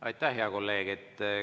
Aitäh, hea kolleeg!